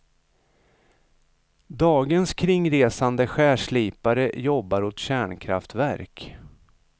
Dagens kringresande skärslipare jobbar åt kärnkraftverk.